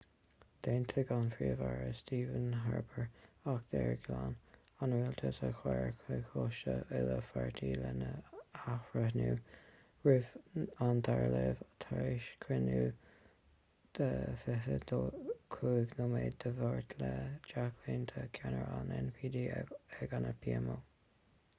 d'aontaigh an príomh-aire stephen harper acht aeir ghlan' an rialtais a chur chuig coiste uile-pháirtí lena athbhreithniú roimh an dara léamh tar éis cruinniú 25 nóiméad dé máirt le jack layton ceannaire an ndp ag an pmo